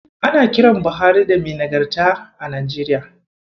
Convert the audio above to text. Ana kiran Buhari da "Mai Nagarta" a Najeriya.